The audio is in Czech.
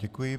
Děkuji.